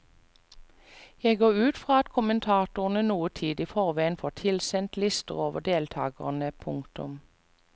Jeg går ut fra at kommentatorene noen tid i forveien får tilsendt lister over deltagerne. punktum